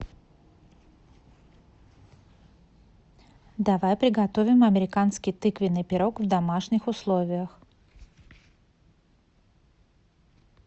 давай приготовим американский тыквеный пирог в домашних условиях